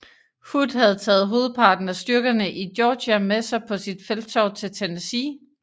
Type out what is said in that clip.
Hood havde taget hovedparten af styrkerne i Georgia med sig på sit felttog til Tennessee